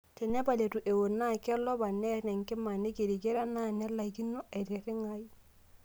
Tenepal eitu ewok naa kelopa, nner enkima, neikirikira naa nelaikino aitirring'ata.